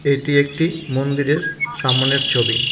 এটি একটি মন্দিরের সামনের ছবি।